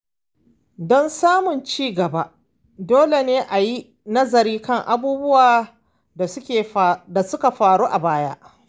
Don samun ci gaba, dole ne a yi nazari kan abubuwan da suka faru a baya.